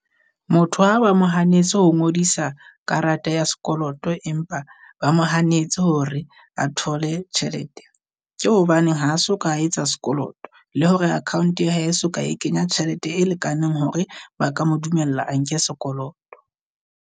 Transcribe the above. Motho ha ba mo hanetse ho ngodisa karata ya sekoloto, empa ba mo hanetse hore a thole tjhelete. Ke hobaneng ha so ka etsa sekoloto, le hore account ya hae e soka, e kenya tjhelete e lekaneng hore ba ka mo dumella a nke sekoloto.